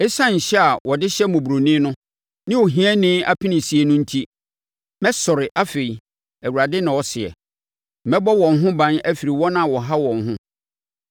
“Esiane nhyɛ a wɔde hyɛ mmɔborɔni no ne ohiani apenesie no enti, mɛsɔre afei,” Awurade na ɔseɛ. “Mɛbɔ wɔn ho ban afiri wɔn a wɔha wɔn ho.”